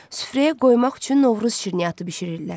Süfrəyə qoymaq üçün Novruz şirniyyatı bişirirlər.